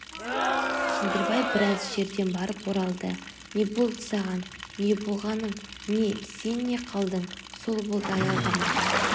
кендірбай біраз жерден барып оралды не болды саған не болғаның не сен қалдың сол болды аялдамаға